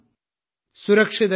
സുരക്ഷിതരായിരിക്കുക